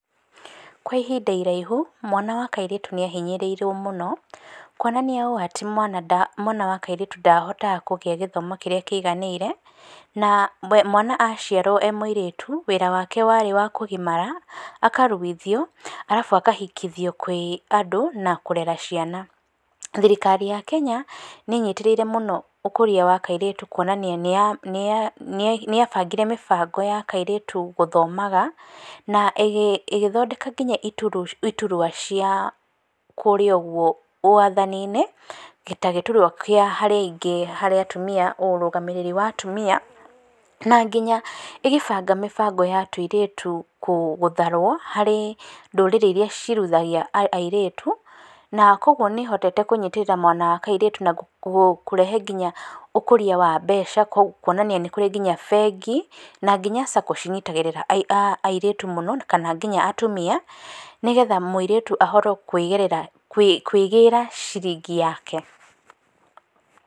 Kwa ihinda iraihu, mwana wa kairĩtu nĩahinyĩrĩirio mũno, kwona nĩ ũũ atĩ mwana nda, mwana wa kairĩtu ndahotaga kũgĩa gĩthomo kĩrĩa kĩiganĩire, na, mwana aciarũo emũirĩtu wĩra wake warĩ wa kũgimara, akaruithio, arabu akahikithio kwĩ andũ na kũrera ciana. Thirikari ya Kenya nĩnyitĩrĩire mũno ũkũria wa kairĩtu kwonania nĩya, nĩyabangire mĩbango ya kairĩtu gũthomaga, na ĩgĩ, ĩgĩthondeka nginya ituru, iturua cia, kũrĩa ũguo wathaninĩ, ta gĩturua kĩa harĩa aingĩ harĩ atumia ũrũgamĩrĩri wa atumia, na nginya ĩgĩbanga mĩbango ya tuirĩtu kũ, gũtharwo, harĩ ndũrĩrĩ iria ciruithagia airĩtu, na kwoguo nĩhotete kũnyitĩrĩra mwana wa kairĩtu na kũ, kũrehe nginya ũkũria wa mbeca kuonania nĩkũrĩ nginya bengi, na nginya Sacco cinyitagĩrĩra aa, airĩtu mũno, kana nginya atumia, nĩgetha mũirĩtu ahote kũigĩrĩra, kwĩ, kwĩgĩra ciringi yake.